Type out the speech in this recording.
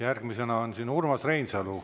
Järgmisena on siin Urmas Reinsalu.